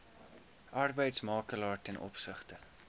arbeidsmakelaar ten opsigte